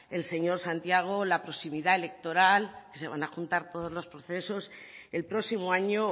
el señor santiago la proximidad electoral que se van a juntar todos los procesos el próximo año